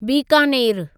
बीकानेरु